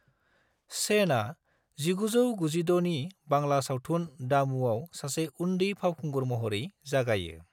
सेनआ 1996 नि बांला सावथुन दामूआव सासे उन्दै फावखुंगुर महरै जागायो।